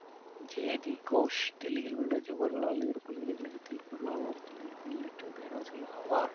ஜெயதி கோஷ் தில்லியில் உள்ள ஜவகர்லால் நேரு பல்கலை கழகத்தில் பொருளாதார துறையில் பணியாற்றும் பேராசிரியர் ஆவார்